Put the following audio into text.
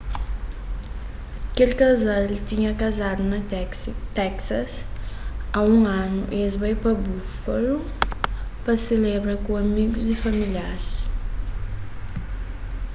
kel kazal tinha kazadu na teksas a un anu y es bai pa buffalo pa selebra ku amigus y familiaris